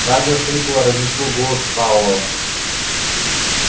радио хрипло разнесло голос пауэлла